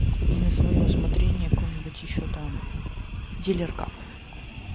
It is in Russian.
и на свое усмотрение какое нибудь еще там дилер кап